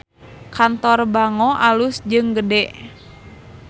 Kantor Bango alus jeung gede